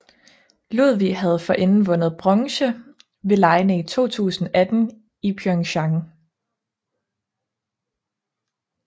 Ludwig havde forinden vundet bronze ved legene i 2018 i Pyeongchang